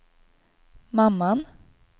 mamman